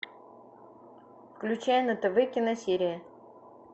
включай на тв киносерия